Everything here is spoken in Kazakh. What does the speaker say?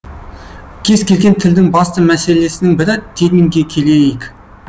кез келген тілдің басты мәселесінің бірі терминге келейік